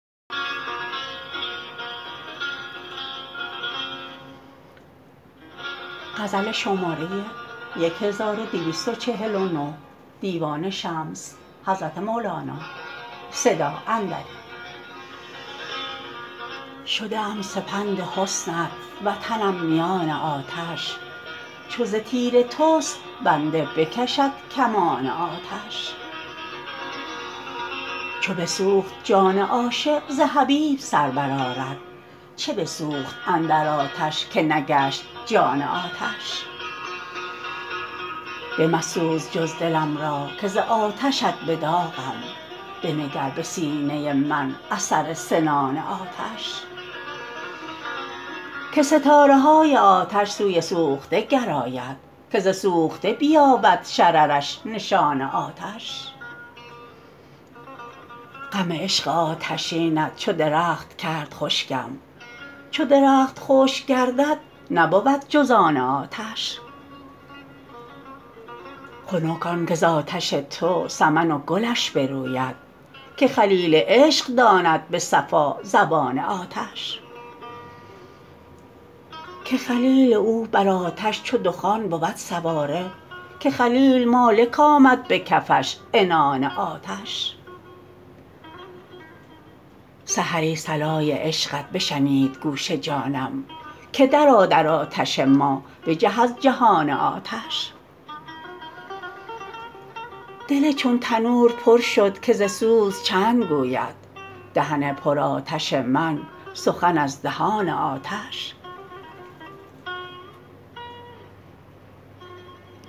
شده ام سپند حسنت وطنم میان آتش چو ز تیر تست بنده بکشد کمان آتش چو بسوخت جان عاشق ز حبیب سر برآرد چه بسوخت اندر آتش که نگشت جان آتش بمسوز جز دلم را که ز آتشت به داغم بنگر به سینه من اثر سنان آتش که ستاره های آتش سوی سوخته گراید که ز سوخته بیابد شررش نشان آتش غم عشق آتشینت چو درخت کرد خشکم چو درخت خشک گردد نبود جز آن آتش خنک آنک ز آتش تو سمن و گلش بروید که خلیل عشق داند به صفا زبان آتش که خلیل او بر آتش چو دخان بود سواره که خلیل مالک آمد به کفش عنان آتش سحری صلای عشقت بشنید گوش جانم که درآ در آتش ما بجه از جهان آتش دل چون تنور پر شد که ز سوز چند گوید دهن پرآتش من سخن از دهان آتش